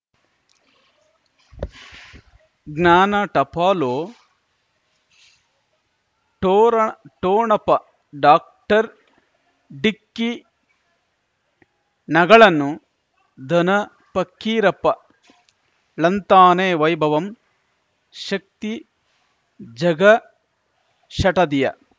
ಜ್ಞಾನ ಟಪಾಲು ಠೊರ ಠೊಣಪ ಡಾಕ್ಟರ್ ಢಿಕ್ಕಿ ಣಗಳನು ಧನ ಫಕೀರಪ್ಪ ಳಂತಾನೆ ವೈಭವಂ ಶಕ್ತಿ ಝಗಾ ಷಟದಿಯ